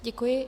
Děkuji.